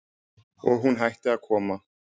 Og hún hætti að koma.